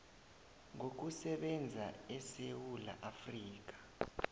ngokusebenza esewula afrika